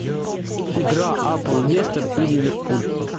игра апл лестер и ливерпуль